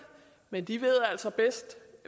men de ved altså bedst